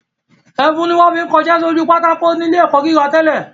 Ẹfun ni wọ́n fi ń kọṣẹ́ sójú pátákó ní ilé ẹ̀kọ́ gíga tẹ́lẹ̀